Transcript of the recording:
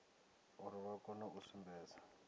uri vha kone u sumbedza